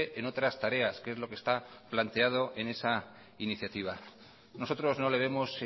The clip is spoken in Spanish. en otras tareas que es lo que está planteado en esa iniciativa nosotros no le vemos